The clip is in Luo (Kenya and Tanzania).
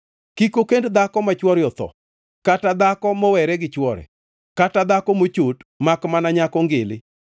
Kik okend dhako ma chwore otho, kata dhako mowere gi chwore, kata dhako mochot, makmana nyako ngili,